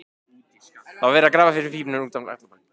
Það var verið að grafa fyrir pípum út um allan bæ.